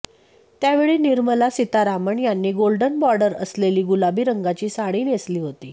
त्यावेळी निर्मला सीतारामन यांनी golden border असलेली गुलाबी रंगाची साडी नेसली होती